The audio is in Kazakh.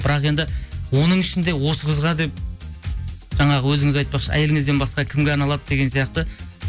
бірақ енді оның ішінде осы қызға деп жаңағы өзіңіз айтпақшы әйеліңізден басқа кімге арналады деген сияқты